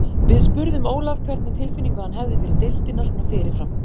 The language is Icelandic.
Við spurðum Ólaf hvernig tilfinningu hann hefði fyrir deildina svona fyrirfram.